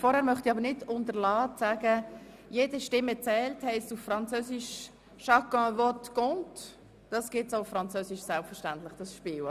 Vorher weise ich aber noch darauf hin, dass das Spiel, «Jede Stimme zählt!», selbstverständlich auch auf Französisch erhältlich ist.